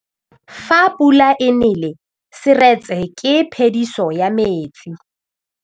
Fa pula e nelê serêtsê ke phêdisô ya metsi.